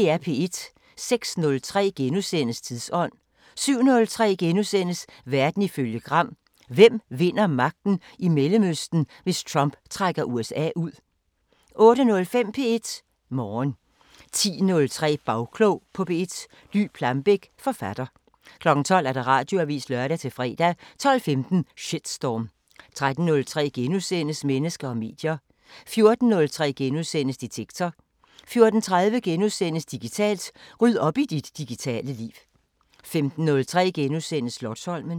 06:03: Tidsånd * 07:03: Verden ifølge Gram: Hvem vinder magten i Mellemøsten, hvis Trump trækker USA ud? * 08:05: P1 Morgen 10:03: Bagklog på P1: Dy Plambeck, forfatter 12:00: Radioavisen (lør-fre) 12:15: Shitstorm 13:03: Mennesker og medier * 14:03: Detektor * 14:30: Digitalt: Ryd op i dit digitale liv * 15:03: Slotsholmen *